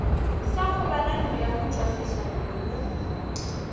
sa kgobalo ya motšwasehlabelo mo